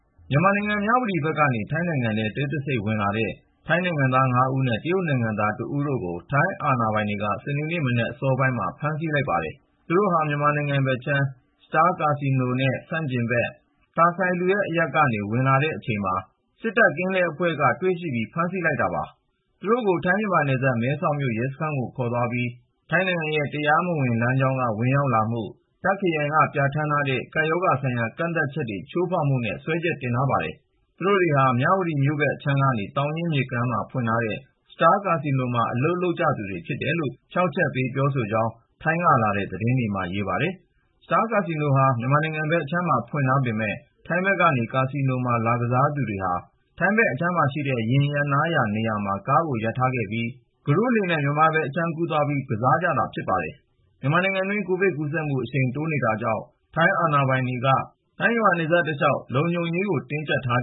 မြန်မာနိုင်ငံ၊ မြဝတီဘက်ကနေ ထိုင်းနိုင်ငံထဲ တိတ်တဆိတ်ဝင်လာတဲ့ ထိုင်းနိုင်ငံသား ၅ ဦးနဲ့ တရုတ်နိုင်ငံသား တဦးတို့ကို ထိုင်းအာဏာပိုင်တွေက စနေနေ့မနက် စောစောမှာ ဖမ်းဆီးလိုက်ပါတယ်။ သူတို့ဟာ မြန်မာနိုင်ငံဘက်အခြမ်း Star ကာဆီနိုနဲ့ ဆန့်ကျင်ဘက် Tha Sailuad အရပ်ကနေ ဝင်လာနေတဲ့အချိန် စစ်တပ်ကင်းလှည့်အဖွဲ့က တွေ့ရှိပြီး ဖမ်းဆီးလိုက်တာပါ။ သူတို့ကို ထိုင်း-မြန်မာနယ်စပ် မဲဆောက်မြို့ ရဲစခန်းကို ခေါ်သွားပြီး ထိုင်းနိုင်ငံအတွင်း တရားမဝင်လမ်းကြောင်းက ဝင်ရောက်မှု၊ တာ့ခ်ခရိုင်က ပြဋ္ဌာန်းထားတဲ့ ကပ်ရောဂါဆိုင်ရာ ကန့်သတ်ချက်တွေ ချိုးဖောက်မှုတို့နဲ့ စွဲချက်တင်ထားတယ်လို့ ဆိုပါတယ်။ သူတို့တွေဟာ မြန်မာနိုင်ငံ၊ မြဝတီမြို့ဘက်အခြမ်းက သောင်ရင်းမြစ်ကမ်းပါးမှာ ဖွင့်ထားတဲ့ Star ကာဆီနိုမှာ အလုပ် လုပ်ကြသူတွေဖြစ်တယ်လို့ ဖြောင့်ချက်ပေးခဲ့ကြကြောင်း ထိုင်းနိုင်ငံကလာတဲ့ သတင်းတွေမှာ ဖော်ပြထားပါတယ်။ Star ကာဆီနိုဟာ မြန်မာနိုင်ငံဘက်အခြမ်းမှာ ဖွင့်ထားပေမယ့် ထိုင်းဘက်ကနေ ကာဆီနိုမှာ လာကစားကြသူတွေဟာ ထိုင်းဘက်အခြမ်းမှာရှိတဲ့ ယာဉ်ရပ်နားရာနေရာမှာ ကားကိုရပ်ထားပြီး ကုတို့နဲ့ မြန်မာဘက်အခြမ်းမှာ သွားကစားကြတာလို့ ဆိုပါတယ်။ မြန်မာနိုင်ငံအတွင်း COVID-19 ကူးစက်ပြန့်ပွားမှု အရှိန်မြင့် ဖြစ်ပေါ်နေတာကြောင့် ထိုင်းအာဏာပိုင်တွေက နယ်စပ်ဒေသတလျှောက်မှာ လုံခြုံရေးတွေကို တင်းကျပ်ထား